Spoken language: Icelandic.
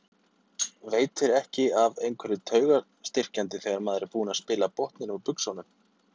Veitir ekki af einhverju taugastyrkjandi þegar maður er búinn að spila botninn úr buxunum.